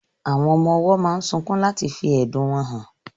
Àwọn ọmọ owó máa sunkún láti fí ẹ̀dùn wọn hàn